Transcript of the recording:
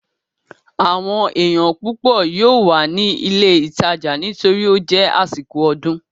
Àwọn èèyàn púpọ̀ yóò wà ní ilé ìtajà nítorí ó jẹ́ àsìkò ọdún